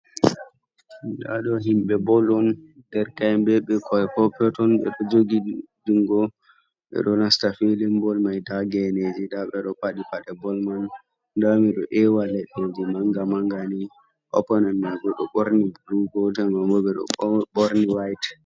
Ndaɗo himɓe bol on derke en ɓe bikkoi perpeton ɓeɗo jogi ndiri jungo, ɓeɗo nasta filin bol mai nda geneji ɓeɗi paɗi paɗe bol man nda miɗo ewa leddeji manga manga, opponen man Bo ɗow ɓorni blu kamɓe bo ɓeɗo ɓorni white.